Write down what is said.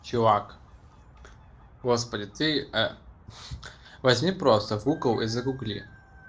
чувак господи ты ха возьми просто гугл и загугли